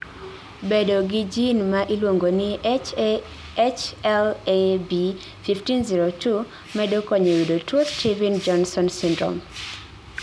Bedo gi gene maa iluongo ni HLA B 1502, medo konyo yudo tuo steven jonsone syndrome